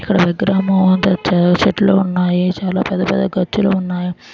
ఇక్కడ విగ్రహము . చాలా చెట్లు ఉన్నాయి. చాలా పెద్ద పెద్ద గచ్చులు ఉన్నాయి.